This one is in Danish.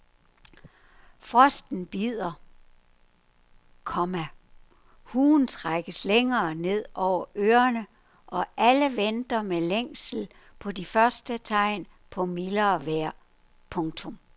Frosten bider, komma huen trækkes længere ned over ørerne og alle venter med længsel på de første tegn på mildere vejr. punktum